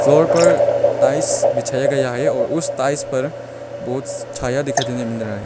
Floor पर tiles बिछाया गया है और उस टाइल्स पर बहोत छाया दिखाई देने मिल रहा है।